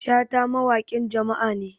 shata mawaƙin jama'a ne